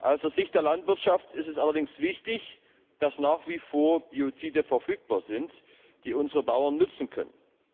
Aus Sicht der Landwirtschaft ist es allerdings wichtig, dass nach wie vor Biozide verfügbar sind, die unsere Bauern nützen können.